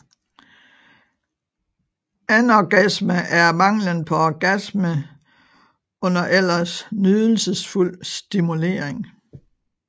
Anorgasme er manglen på orgasme under ellers nydelsesfuld stimulering